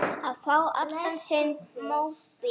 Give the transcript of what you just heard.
Og fá allan sinn mótbyr.